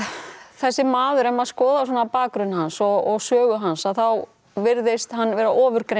þessi maður ef maður skoðar svona bakgrunn hans og sögu hans þá virðist hann vera